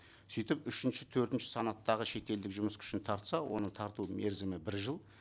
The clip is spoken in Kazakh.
сөйтіп үшінші төртінші санаттағы шетелдік жұмыс күшін тартса оның тарту мерзімі бір жыл